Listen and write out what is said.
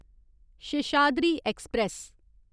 Seshadri express